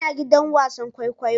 Ina gidan wasan kwaikwayo